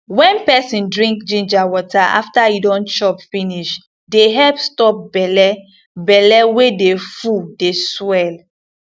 wen peson drink ginger water after e don chop finish dey help stop belle belle wey dey full dey swell